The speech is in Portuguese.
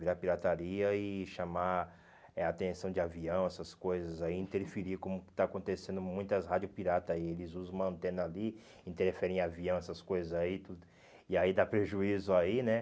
Virar pirataria e chamar eh a atenção de avião, essas coisas aí, interferir, como está acontecendo com muitas rádios piratas aí, eles usam uma antena ali, interferem em avião, essas coisas aí, tudo e aí dá prejuízo aí, né?